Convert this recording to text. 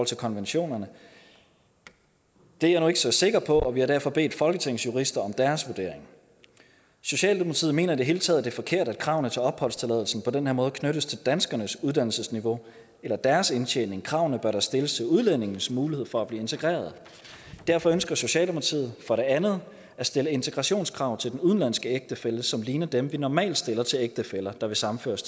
til konventionerne det er jeg nu ikke så sikker på og vi har derfor bedt folketingets jurister om deres vurdering socialdemokratiet mener i det hele taget er forkert at kravene til opholdstilladelsen på den her måde knyttes til danskernes uddannelsesniveau eller deres indtjening kravene bør da stilles til udlændingens mulighed for at blive integreret derfor ønsker socialdemokratiet for det andet at stille integrationskrav til den udenlandske ægtefælle som ligner dem vi normalt stiller til ægtefæller der vil sammenføres